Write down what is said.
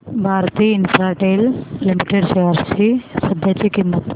Bharti Infratel Limited shares ची सध्याची किंमत